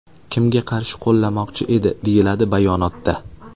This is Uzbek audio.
Kimga qarshi qo‘llamoqchi edi?”, deyiladi bayonotda.